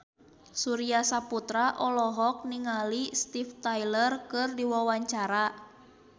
Surya Saputra olohok ningali Steven Tyler keur diwawancara